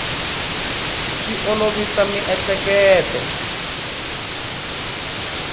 swi olovisa miehleketo